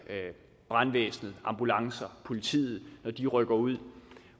brandvæsenet ambulancer politiet når de rykker ud